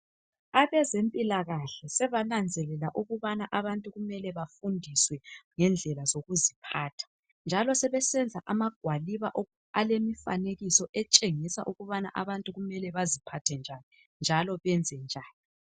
Abezempilakahle sebananzelela ukubana abantu kumele bafundiswe ngendlela zokuziphatha njalo sebensenza amagwaliba alemifanekiso etshengisa ukubana abantu kumele baziphathe njani njalo benze njani